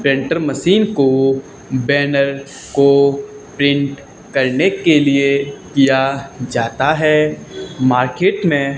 printer machine को banner को print करने के लिए किया जाता है मार्केट में--